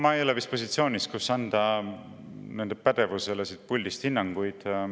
Ma ei ole vist positsioonis, kus nende pädevusele siit puldist hinnanguid anda.